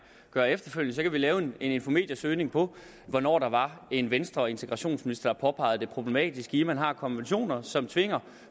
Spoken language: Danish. gøre efterfølgende så kan vi lave en infomediasøgning på hvornår der var en venstreintegrationsminister der påpegede det problematiske i at man har konventioner som tvinger